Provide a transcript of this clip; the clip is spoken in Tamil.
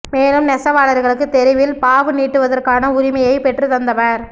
மேலும் நெசவாளா்களுக்கு தெருவில் பாவு நீட்டுவதற்கான உரிமையைப் பெற்றுத் தந்தவா்